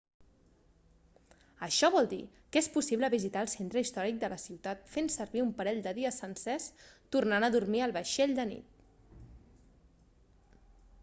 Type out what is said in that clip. això vol dir que és possible visitar el centre històric de la ciutat fent servir un parell de dies sencers tornant a dormir al vaixell de nit